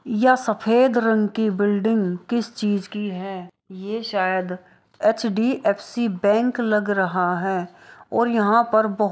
यह सफेद रंग की बिल्डिंग किस चीज की है ये शायद एच_डी_एफ_सी बैंक लग रहा है और यहाँ पर बोह--